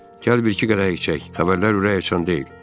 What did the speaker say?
Gəl bir iki qədəh içək, xəbərlər ürəkaçan deyil.